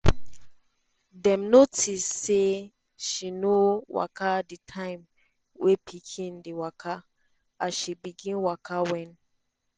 dem notice say she no waka di time wey pikin dey waka as she begin waka wen